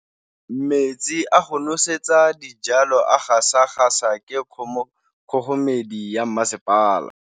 Metsi a go nosetsa dijalo a gasa gasa ke kgogomedi ya masepala.